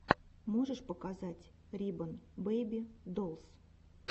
можешь показать рибон бэйби долс